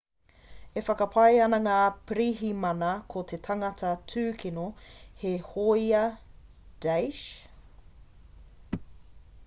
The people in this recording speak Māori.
e whakapae ana ngā pirihimana ko te tangata tūkino he hōia daesh isil